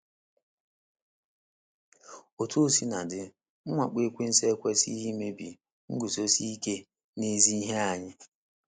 Otú o sina dị, mwakpo ekwensu ekwesịghị imebi nguzosi ike n’ezi ihe anyị.